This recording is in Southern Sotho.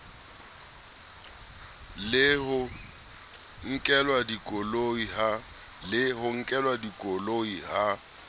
le ho nkelwa dikoloi ha